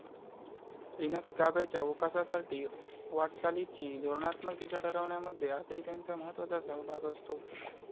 Linux गाभ्याच्या वोकासासाठीच्या वाटचालीची धोरणात्मक दिशा ठरवण्यामध्ये आजही त्यांचा महत्वाचा सहभाग असतो.